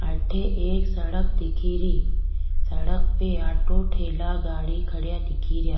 अठे एक सड़क दिखेरी सड़क पे ऑटो ठेला गाड़ी खड्या दिखे रिया।